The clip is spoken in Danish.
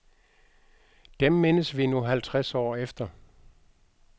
Dem mindes vi nu halvtreds år efter.